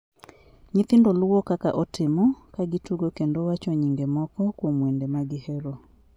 Nyithindo luwo kaka otimo, ka gitugo kendo wacho nyinge moko kuom wende ma gihero.